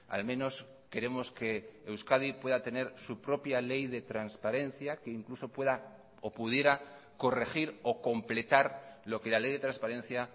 al menos queremos que euskadi pueda tener su propia ley de transparencia que incluso pueda o pudiera corregir o completar lo que la ley de transparencia